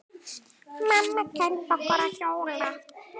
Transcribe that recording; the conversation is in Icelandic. Mamma kenndi okkur að hjóla.